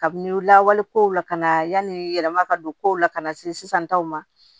Kabini lawale kow la ka na yanni yɛlɛma ka don kow la ka na se sisan taw ma